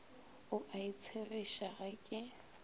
o a itshegiša ga ke